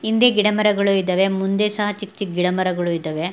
ಹಿಂದೆ ಗಿಡ ಮರಗಳು ಇದ್ದವೇ ಮುಂದೆ ಸಹ ಚಿಕ್ ಚಿಕ್ ಗಿಡ ಮರಗಳು ಇದ್ದವೇ.